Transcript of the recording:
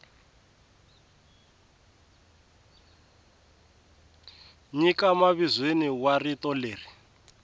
nyika mavizweni wa rito leri